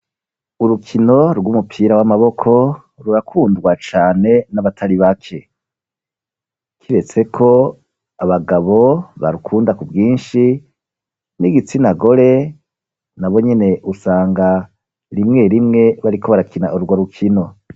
Urukino rw'umupira w'amaboko, rurakundwa cane n'abatari bake; kiretse ko abagabo barukunda ku bwinshi, n'igitsina gore na bonyene usanga rimwe rimwe, bariko barakina urwo rukino.